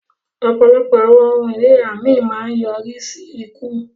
Ọpọlọpọ awọn ohun ìríra mi maa ń nyorisi iku.